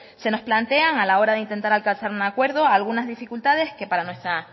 se nos plantean a la hora de intentar alcanzar algún acuerdo algunas dificultades que para nuestra